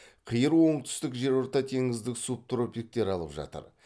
қиыр оңтүстік жерортатеңіздік субтропиктер алып жатыр